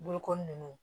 Bolokoli nunnu